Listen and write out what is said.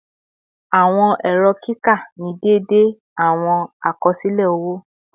Awọn ẹrọ kika ni deede awọn akọsilẹ owo